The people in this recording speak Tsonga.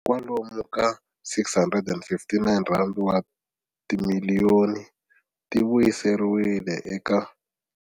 Kwalomu ka R659 wa timiliyoni ti vuyiseriwile eka.